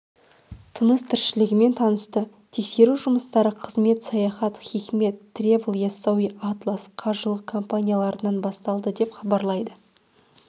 тыныс-тіршілігімен танысты тексеру жұмыстары қызмет саяхат хикмет тревл яссауи атлас қажылық компанияларынан басталды деп хабарлайды